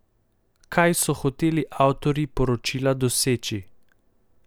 Kaj so hoteli avtorji poročila doseči?